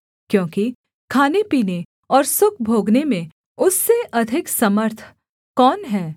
क्योंकि खानेपीने और सुख भोगने में उससे अधिक समर्थ कौन है